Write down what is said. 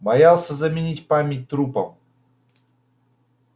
боялся заменить память трупом